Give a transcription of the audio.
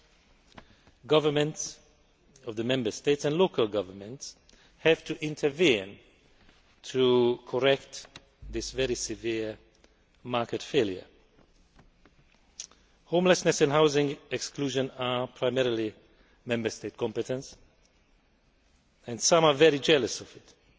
Member State governments and local governments have to intervene to correct this very severe market failure. Homelessness and housing exclusion are primarily Member State competences, and some are very jealous of this.